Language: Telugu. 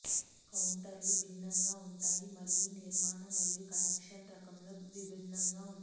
కౌంటర్లు భిన్నంగా ఉంటాయి మరియు నిర్మాణ మరియు కనెక్షన్ రకంలో విభిన్నంగా ఉంటాయి